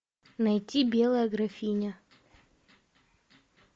найти белая графиня